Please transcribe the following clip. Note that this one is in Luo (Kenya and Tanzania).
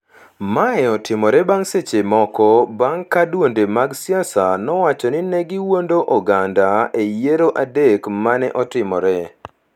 Mae otimore bang’ seche moko bang’ ka duonde mag siasa nowacho ni ne giwuondo oganda e yiero adek ma ne otimore